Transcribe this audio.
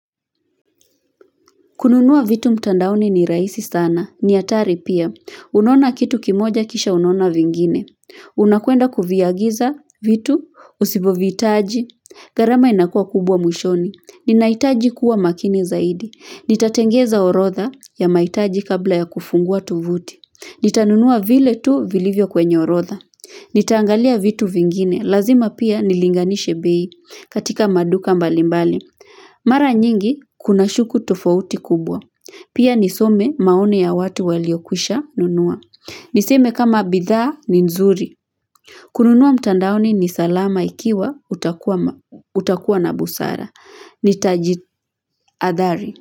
Kununua vitu mtandaoni ni rahisi sana. Ni atari pia. Unona kitu kimoja kisha unaona vingine. Unakuenda kufvagiza vitu. Usiboviitaji. Gharama inakua kubwa mwishoni. Ninaitaji kuwa makini zaidi. Nitatengeza orodha ya mahitaji kabla ya kufungua tovuti. Nitanunua vile tu vilivyo kwenye orodha. Nitaangalia vitu vingine. Lazima pia nilinganishi bei katika maduka mbalimbali. Mara nyingi kunashuku tofauti kubwa. Pia nisome maoni ya watu waliokwisha nunua. Niseme kama bidhaa ni nzuri. Kununua mtandaoni ni salama ikiwa utakuwa na busara. Nitaji adhari.